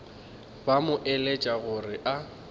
ba mo eletša gore a